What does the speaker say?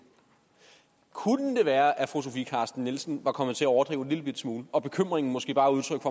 kunne det være at fru sofie carsten nielsen var kommet til at overdrive en lillebitte smule og at bekymringen måske bare er udtryk